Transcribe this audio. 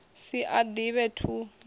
si a ḓivhe toe ni